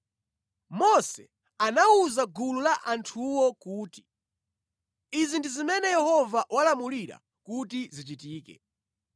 Mose anawuza gulu la anthuwo kuti, “Izi ndi zimene Yehova walamulira kuti zichitike.”